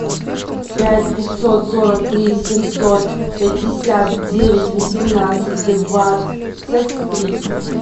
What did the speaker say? пять пятьсот сорок три семьсот пятьдесят девять восемнадцать двадцать три